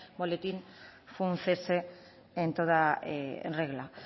boletín fue un cese en toda regla